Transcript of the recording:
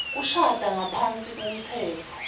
kushada ngaphasi kwemtsetfo